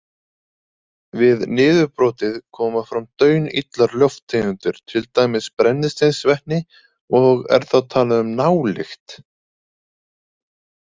Við niðurbrotið koma fram daunillar lofttegundir til dæmis brennisteinsvetni og er þá talað um nálykt.